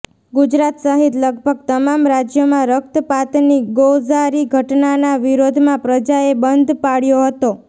ગુજરાત સહિત લગભગ તમામ રાજયોમાં રકતપાતની ગોઝારી ઘટનાના વિરોધમાં પ્રજાએ બંધ પાળ્યો હતો